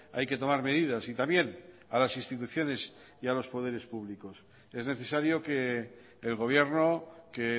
hay que tomar medidas y también a las instituciones y a los poderes públicos es necesario que el gobierno que